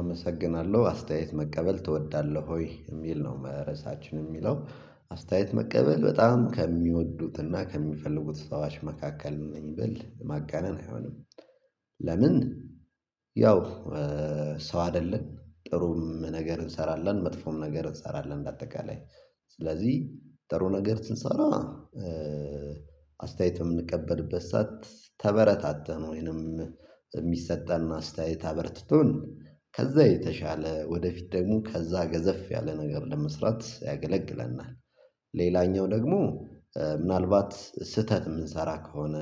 አመሰግናለሁ አስተያየት መቀበል ትወዳለህ ወይ የሚል ነው? ርሳችን የሚለው አስተያየት መቀበል በጣም ከሚወዱትና ከሚፈልጉት ሰዎች መካከል ነኝ ብል ማጋነን አይሆንም። ለምን? ያው ሰው አይደለን ጥሩም ነገር እንሰራለን መጥፎም ነገር እንሰራለን በአጠቃላይ ስለዚህ ጥሩ ነገር ስሰራ። አስተያየት በምንቀበልበት ሰዓት ተበረታተን ወይንም የሚሰጠን አስተያየት አበርትቶን ከዛ የተሻለ ወደፊት ደግሞ ከዛ ገዘፍ ያለ ነገር ለመስራት ያገለግለናል። ሌላኛው ደግሞ ምናልባት ስህተት የምንሰራ ከሆነ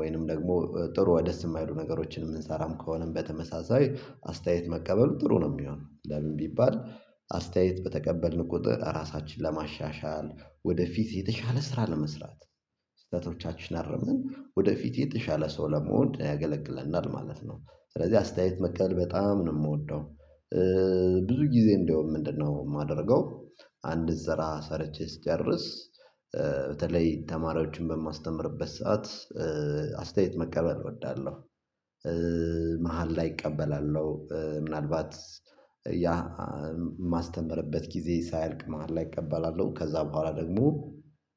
ወይም ደግሞ ጥሩ ደስ የማይሉ ነገሮችን የምንሠራም ከሆንም በተመሳሳይ አስተያየት መቀበሉ ጥሩ ነው። የሚሆነው ለምን ቢባል አስተያየት በተቀበልን ቁጥር ራሳችንን ለማሻሻል ወደፊት የተሻለ ስራ ለመስራት ስህተቶቻችንን አርመን ወደፊት የተሻለ ሰው ለመሆን ያገለግለናል ማለት ነው ስለዚህ አስተያየት መቀበል በጣም ነው የምወደው። ብዙ ጊዜ እንደውም ምንድነው የማደርገው? አንድ ስራ ሰርቼ ስጨርስ በተለይ ተማሪዎችን በማስተምርበት ሰዓት አስተያየት መቀበል እወዳለሁ። መሃል ላይ እቀበላለሁ ምናልባት ያ የማስተምርበት ግዜ ሳያልቅ መሃል ላይ እቀበላለሁ ከዛ በኋላ ደግሞ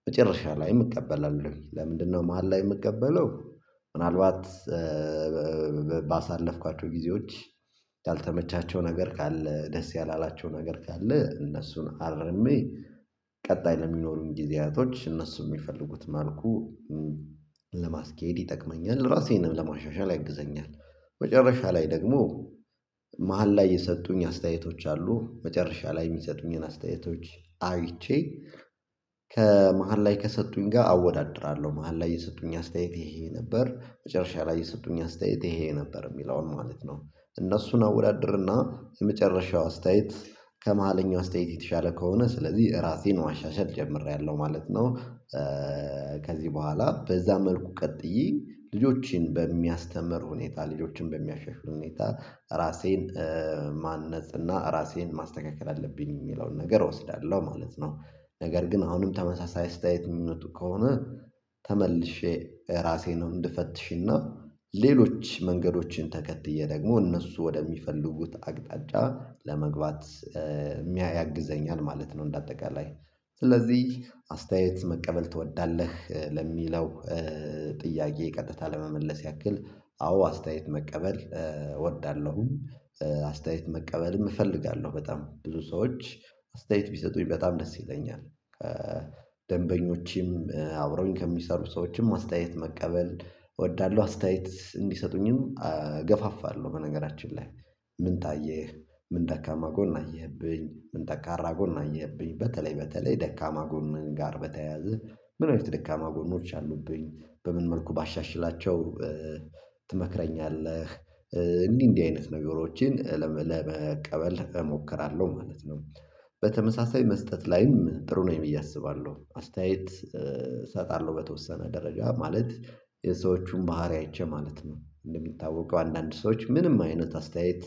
መጨረሻም ላይ እቀበላለሁ ለምንድን ነው መሃል ላይ የምቀበለው? ምናልባት ባሳለፍኳቸው ጊዜዎች ያልተመቻቸው ነገር ካለ ደስ ያላላቸው ነገር ካለ እነሱን አርሜ ቀጣይ ለሚኖሩን ጊዜያቶች እነሱ በሚፈልጉት መልኩ ለማስኬድ ይጠቅመኛል ራሴንም ለማሻሻል ያግዘኛል። መጨረሻ ላይ ደግሞ መሃል ላይ የሰጡኝ አስተያየቶች አሉ። መጨረሻ ላይ የሚሰጡኝንም አስተያየቶች አይቼ ከመሃል ላይ ከሰጡኝ ጋር አወዳድራለሁ መሃል ላይ የሰጡኝ አስተያየት ይሄ ይሄ ነበር መጨረሻ ላይ የሰጡኝ አስተያየት ይሄ ነበር የሚለውን ማለት ነው። እነሱን አወዳድርና የመጨረሻው አስተያየት ከመሀለኛው አስተያየት የተሻለ ከሆነ ስለዚህ ራሴን ማሻሻል ጀምሬያለሁ ማለት ነው። ከዚህ በኋላ በዛ መልኩ ቀጥዬ ልጆችን በሚያስተምር ሁኔታ ልጆችን በሚያሻሽል ሁኔታ ራሴን ማነጽ እና ራሴን ማስተካከል አለብኝ የሚለውን ነገር እወስዳለሁ ማለት ነው። ነገር ግን አሁንም ተመሳሳይ አስተያየት የሚመጡ ከሆነ ተመልሼ ራሴን እንድፈትሽና ሌሎች መንገዶችን ተከትዬ ደግሞ እነሱ ወደሚፈልጉት አቅጣጫ ለመግባት ያግዘኛል ማለት ነው። እንደ አጠቃላይ ስለዚህ አስተያየት መቀበል ትወዳለህ ለሚለው ጥያቄ ቀጥታ ለመመለስ ያክል አዎ አስተያየት መቀበል እወዳለሁም። አስተያየት መቀበልም እፈልጋለሁ በጣም ብዙ ሰዎች አስተያየት ቢሰጡኝ በጣም ደስ ይለኛል። ከደንበኞችም አብረውኝ ከሚሰሩ ሰዎችም አስተያየት መቀበል እወዳለሁ አስተያየት እንዲሰጡኝም እገፋፋለሁ በነገራችን ላይ ምን ታየህ? ምን ደካማ ጎን አየህብኝ ምን ጠንካራ ጎን አየህብኝ? በተለይ በተለይ ደካማ ጎኔን ጋር በተያያዘ ምን ወይ ደካማ ጎን አሉብኝብኝ በምን መልኩ ባሻሽላቸው ትመክረኛለህ? እንዲህ እንዲህ አይነት ነገሮችን ለመቀበል እሞክራለሁ ማለት ነው። በተመሳሳይ መስጠት ላይም ጥሩ ነኝ ብዬ አስባለሁ አስተያየት እሰጣለሁ በተወሰነ ደረጃ ማለት የሰዎቹን ባህሪ አይቼ ማለት ነው እንደሚታወቀው አንዳንድ ሰዎች ምንም አይነት አስተያየት።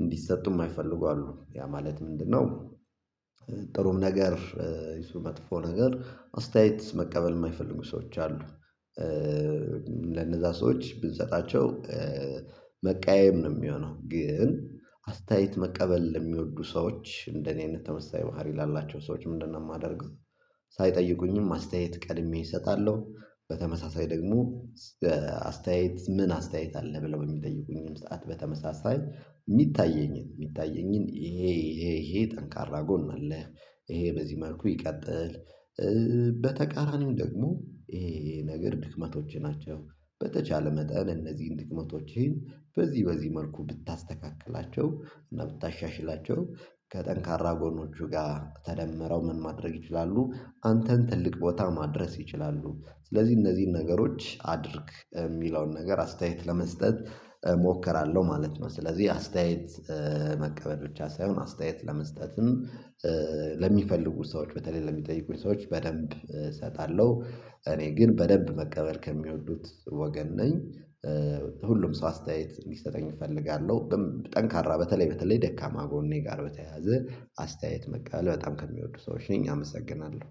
እንዲሰጡ የማይፈልጉ አሉ ያ ማለት ምንድነው? ጥሩም ነገር ይሁን መጥፎ ነገር አስተያየት መቀበል የማይፈልጉ ሰዎች አሉ። ለነዛ ሰዎች ብንሰጣቸው መቀያየም ነው የሚሆነው ግን አስተያየት መቀበል የሚወዱ ሰዎች እንደኔ አይነት ተመሳሳይ ባህሪ ላላቸው ሰዎች ምንድን የማደርገው ሳይጠይቁኝም አስተያየት ቀድሜ እሰጣለሁ። በተመሳሳይ ደግሞ አስተያየት ምን አስተያየት አለ ብለው የሚጠይቁኝም ሰዓት በተመሳሳይ የሚታየኝን የሚታየኝን ይሄ ይሄ ይሄ ጠንካራ ጎን አለ። ይሄ በዚህ መልኩ ይቀጥል። በተቃራኒው ደግሞ ይሄ ነገር ድክመቶችህ ናቸው። በተቻለ መጠን እነዚህን ድክመቶችህን በዚህ በዚህ መልኩ ብታስተካክላቸው እና ብታሻሽላቸው ከጠንካራ ጎኖቹ ጋር ተደምረው ምን ማድረግ ይችላሉ? አንተን ትልቅ ቦታ ማድረስ ይችላሉ። ስለዚህ እነዚህን ነገሮች አድርግ የሚለውን ነገር አስተያየት ለመስጠት እሞክራለሁ ማለት ነው። ስለዚህ አስተያየት መቀበል ብቻ ሳይሆን አስተያየት ለመስጠትም ለሚፈልጉ ሰዎች በተለይ ለሚጠይቁኝ ሰዎች በደንብ እሰጣለሁ። እኔ ግን በደንብ መቀበል ከሚወዱት ወገን ነኝ። ሁሉም ሰው አስተያየት እንዲሰጠኝ እፈልጋለሁ ጠንካራ በተለይ በተለይ ደካማ ጎኔ ጋር በተያያዘ አስተያየት መቀበል በጣም ከሚወዱ ሰዎች ነኝ። አመሰግናለሁ